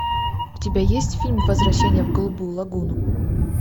у тебя есть фильм возвращение в голубую лагуну